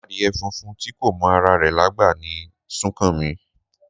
Adìyẹ funfun tí kò mọ ara rẹ̀ lágbà ni Súnkànmí